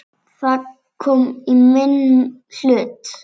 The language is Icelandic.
Það kom í minn hlut.